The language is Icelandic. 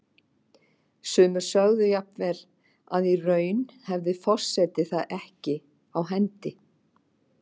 Sumir sögðu jafnvel að í raun hefði forseti það ekki á hendi.